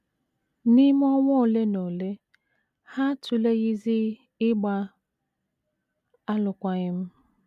N’ime ọnwa ole na ole, ha atụleghịzi ịgba alụkwaghịm.